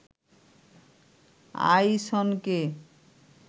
আইসনকে